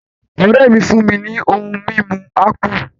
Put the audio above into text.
Ọ̀ré mi fún mi ní ohun mímu ápù